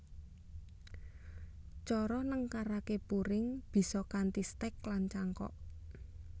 Cara nengkaraké puring bisa kanthi stek lan cangkok